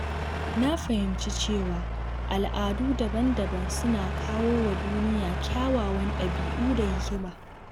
Na fahimci cewa al’adu daban-daban suna kawo wa duniya kyawawan ɗabi’u da hikima.